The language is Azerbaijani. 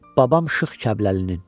Babam Şıx Kəbləlinin.